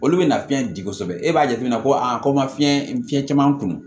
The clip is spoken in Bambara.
Olu bɛ na fiyɛn di kosɛbɛ e b'a jateminɛ ko a ko n ma fiɲɛ fiɲɛ caman kun